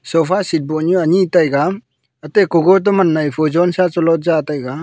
sofa seat bohnu ani taiga ate gotoman nai pho jonsa chilotb chija taiga.